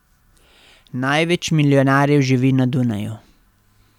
Največ milijonarjev živi na Dunaju.